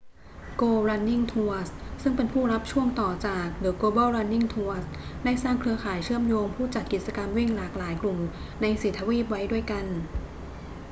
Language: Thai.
go running tours ซึ่งเป็นผู้รับช่วงต่อจาก the global running tours ได้สร้างเครือข่ายเชื่อมโยงผู้จัดกิจกรรมวิ่งหลากหลายกลุ่มใน 4 ทวีปไว้ด้วยกัน